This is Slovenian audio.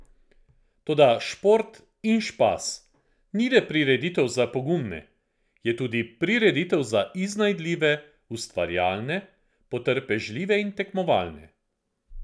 Toda Šport in špas ni le prireditev za pogumne, je tudi prireditev za iznajdljive, ustvarjalne, potrpežljive in tekmovalne.